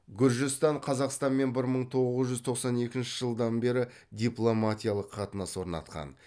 гүржістан қазақстанмен бір мың тоғыз жүз тоқсан екінші жылдан бері дипломатиялық қатынас орнатқан